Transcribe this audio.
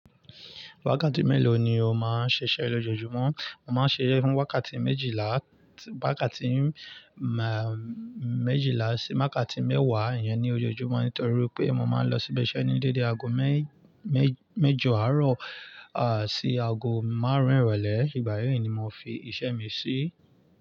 Wákàtí mélòó ni o máa ń ṣiṣẹ́ lójoojúmọ́? Mo máa ń ṣiṣẹ́ fún wákàtí méjìlá, wákàtí, máà, méjìlá sí wákàtí mẹ́wàá, ìyẹn ni ojoojúmọ́ nítorí pé mo máa ń lọ síbi iṣẹ́ ní dédé aago mé-méj-méjọ àárọ̀, à, sí aago márùn-ún ìrọ̀lẹ́. Ìgbà yẹn ni mo fi iṣẹ́ mi sí.